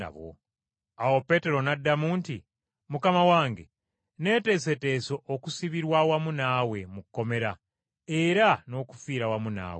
Awo Peetero n’addamu nti, “Mukama wange, neeteeseteese okusibirwa awamu naawe mu kkomera, era n’okufiira awamu naawe.”